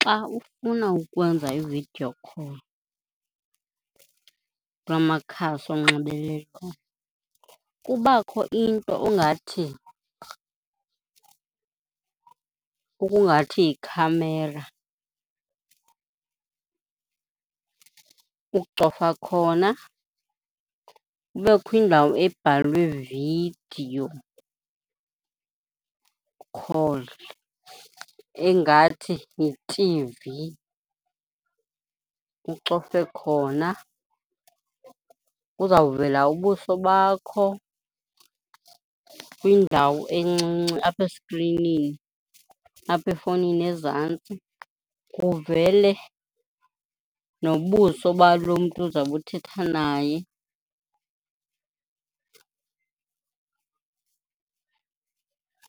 Xa ufuna ukwenza i-video call kula makhasi onxibelelwano kubakho into engathi, okungathi yikhamera. Ucofa khona, kubekho indawo ebhalwe video call engathi yitivi, ucofe khona. Kuzawuvela ubuso bakho kwindawo encinci apha eskrinini, apha efowunini ezantsi, kuvele nobuso balo mntu uzawube uthetha naye